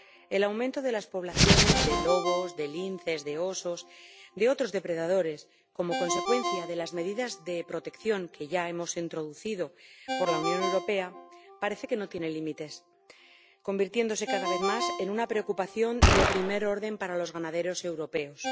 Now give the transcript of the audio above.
El aumento de las poblaciones de lobos, de linces, de osos y de otros depredadores, como consecuencia de las medidas de protección que ya hemos introducido en la Unión Europea, parece que no tiene límites y se está convirtiendo cada vez más en una preocupación de primer orden para los ganaderos europeos.